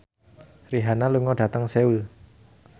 Rihanna lunga dhateng Seoul